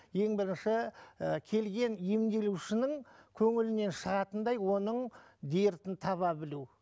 ең бірінші ііі келген емделушінің көңілінен шығатындай оның дертін таба білу